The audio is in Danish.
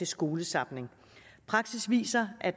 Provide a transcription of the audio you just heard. skolezapning praksis viser at